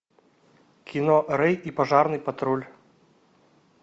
кино рей и пожарный патруль